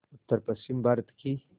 उत्तरपश्चिमी भारत की